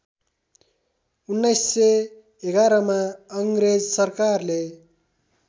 १९११मा अङ्ग्रेज सरकारले